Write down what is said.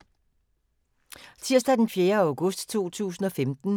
Tirsdag d. 4. august 2015